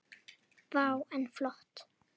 Vá, en flott.